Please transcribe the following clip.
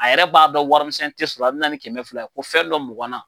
A yɛrɛ b'a dɔn warimisɛn tɛ sɔrɔ a bi na ni kɛmɛ fila ye ko fɛn dɔ mugan na.